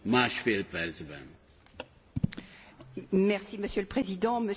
Monsieur le Président, Monsieur le Commissaire, j'ai bien écouté votre intervention.